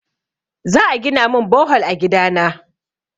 Za a gina min bohol a gida na.